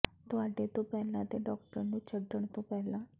ਤੁਹਾਡੇ ਤੋਂ ਪਹਿਲਾਂ ਦੇ ਡਾਕਟਰ ਨੂੰ ਛੱਡਣ ਤੋਂ ਪਹਿਲਾਂ